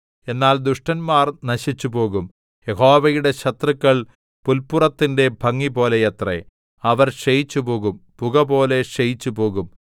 എന്നാൽ ദുഷ്ടന്മാർ നശിച്ചുപോകും യഹോവയുടെ ശത്രുക്കൾ പുല്പുറത്തിന്റെ ഭംഗിപോലെയത്രെ അവർ ക്ഷയിച്ചുപോകും പുകപോലെ ക്ഷയിച്ചുപോകും